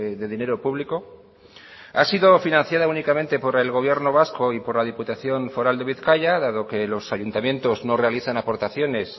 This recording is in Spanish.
de dinero público ha sido financiada únicamente por el gobierno vasco y por la diputación foral de bizkaia dado que los ayuntamientos no realizan aportaciones